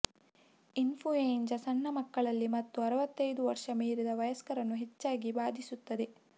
influenza ಸಣ್ಣ ಮಕ್ಕಳಲ್ಲಿ ಮತ್ತು ಅರವತ್ತೈದು ವರ್ಷ ಮೀರಿದ ವಯಸ್ಕರನ್ನು ಹೆಚ್ಚಾಗಿ ಬಾಧಿಸುತ್ತದೆ